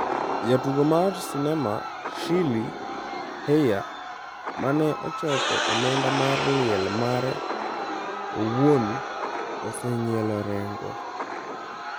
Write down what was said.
Jatugo mar sinema Shirley Hellyar mane ochoko omenda mar liel mare owuon oseng'ielo rengo